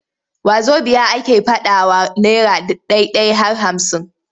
Wazobiya ake faɗawa naira ɗai-ɗai har hamsin.